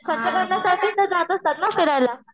खर्च करण्यासाठीच तर जात असतात ना फिरायला